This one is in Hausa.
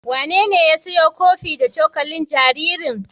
Wanene ya siyo kofi da cokalin jaririn?